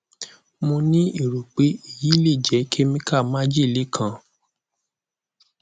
mo ni ero pe eyi le je chemical majele kan